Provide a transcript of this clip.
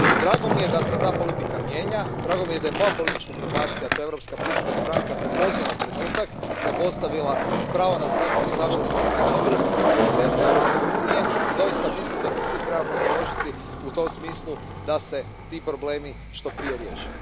Drago mi je da se ta politika mijenja, drago mi je da je i moja politička grupacija, to je Europska pučka stranka, prepoznala trenutak, da je postavila pravo na zdravstvenu zaštitu na vrh prioriteta Europske unije i doista mislim da se svi trebamo založiti u tom smislu da se ti problemi što prije riješe.